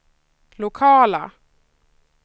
lokaler